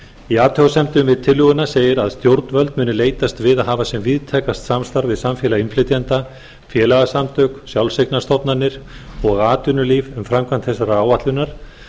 í athugasemdum við tillöguna segir að stjórnvöld muni leitast við að hafa sem víðtækast samstarf við samfélag innflytjenda félagasamtök sjálfseignarstofnanir og atvinnulíf um framkvæmd þessarar áætlunar